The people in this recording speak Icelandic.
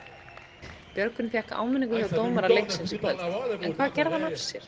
Björgvin fékk áminningu hjá dómara leiksins í kvöld, en hvað gerði hann af sér?